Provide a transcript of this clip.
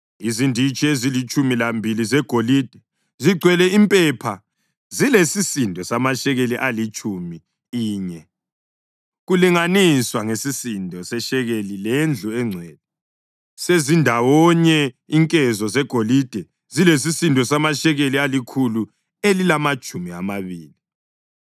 Izinditshi ezilitshumi lambili zegolide zigcwele impepha zilesisindo samashekeli alitshumi inye, kulinganiswa ngesisindo seshekeli lendlu engcwele. Sezindawonye, inkezo zegolide zilesisindo samashekeli alikhulu elilamatshumi amabili.